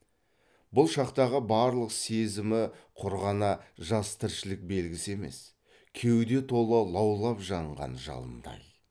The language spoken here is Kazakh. бұл шақтағы барлық сезімі құр ғана жас тіршілік белгісі емес кеуде тола лаулап жанған жалындай